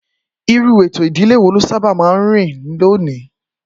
Irú ètò ìdílé wo ló sábà máa ń rí lónìí?